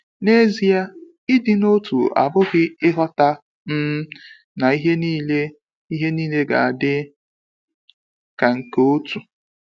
N'ezie, ịdị n’otu abụghị ịghọta um na ihe niile ihe niile ga-adị ka nke otu.